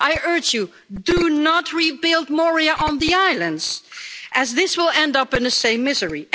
I urge you, do not rebuild Moria on the islands as this will end up in the same misery.